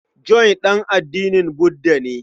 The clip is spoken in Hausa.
John ɗan addinin Budda ne.